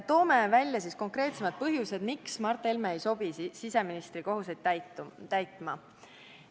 Toome välja konkreetsemad põhjused, miks Mart Helme ei sobi siseministri kohustusi täitma.